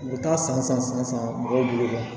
U bɛ taa san san san san mɔgɔw bolo